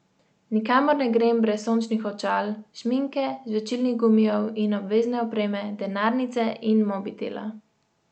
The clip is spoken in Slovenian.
Nikamor ne grem brez sončnih očal, šminke, žvečilnih gumijev in obvezne opreme, denarnice in mobitela.